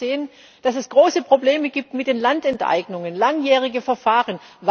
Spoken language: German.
Wir haben gesehen, dass es große Probleme mit den Landenteignungen gibt langjährige Verfahren.